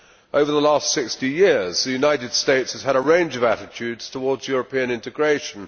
Over the last 60 years, the United States has had a range of attitudes towards European integration.